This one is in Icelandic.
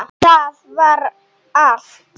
Það var allt.